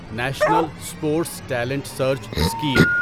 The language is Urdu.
national sports talent search scheme